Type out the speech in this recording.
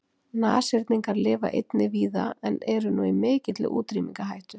Nashyrningar lifa einnig víða en eru nú í mikilli útrýmingarhættu.